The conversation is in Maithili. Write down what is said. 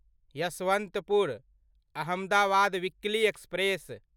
Yesvantpur Ahmedabad weekly express